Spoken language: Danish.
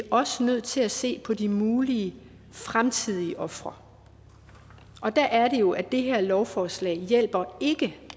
også nødt til at se på de mulige fremtidige ofre og der er det jo at det her lovforslag ikke hjælper